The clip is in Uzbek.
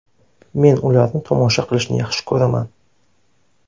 Men ularni tomosha qilishni yaxshi ko‘raman.